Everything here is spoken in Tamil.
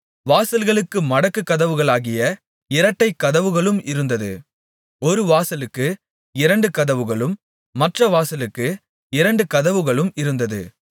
வாசல்களுக்கு மடக்குக் கதவுகளாகிய இரட்டைக் கதவுகளும் இருந்தது ஒரு வாசலுக்கு இரண்டு கதவுகளும் மற்ற வாசலுக்கு இரண்டு கதவுகளும் இருந்தது